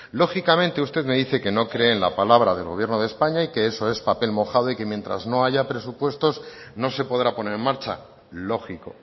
lógicamente usted me dice que no cree en la palabra del gobierno de españa y que eso es papel mojado y que mientras no haya presupuestos no se podrá poner en marcha lógico